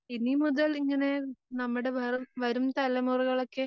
ഇനിമുതൽ ഇങ്ങനെ നമ്മടെ വരുംതലമുറകളക്കെ